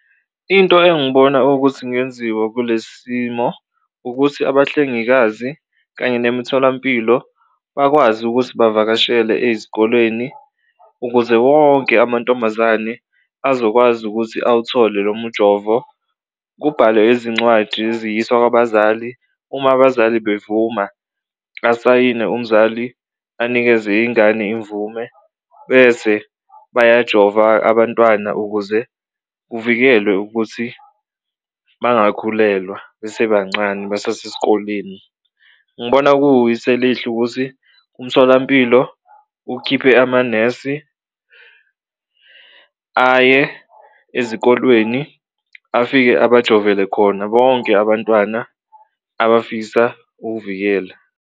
Into engibona ukuthi ingenziwa kule simo ukuthi abahlengikazi kanye nemitholampilo bakwazi ukuthi bavakashele ezikolweni ukuze wonke amantombazane azokwazi ukuthi awuthole lo mujovo. Kubhalwe izincwadi ziyiswa kwabazali uma abazali bevuma asayine umzali anikeze ingane imvume bese bayajova abantwana ukuze kuvikelwe ukuthi bangakhulelwa besebancane basasesikoleni. Ngibona elihle ukuthi umtholampilo ukhiphe amanesi aye ezikolweni afike abajovele khona bonke abantwana abafisa ukuvikela.